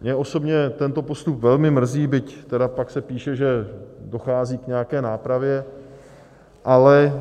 Mě osobně tento postup velmi mrzí, byť tedy pak se píše, že dochází k nějaké nápravě, ale